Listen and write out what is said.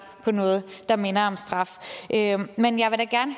på noget der minder om straf men jeg vil da gerne